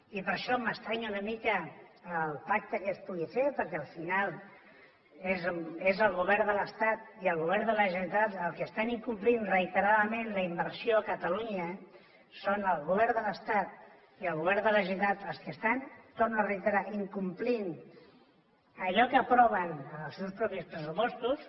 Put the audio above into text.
i per això m’estranya una mica el pacte que es pugui fer perquè al final és el govern de l’estat i el govern de la generalitat els que estan incomplint reiteradament la inversió a catalunya són el govern de l’estat i el govern de la generalitat els que estan ho torno a reiterar incomplint allò que aproven en els seus propis pressupostos